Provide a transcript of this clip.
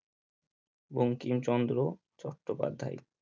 Bankimchandra Chattopadhyay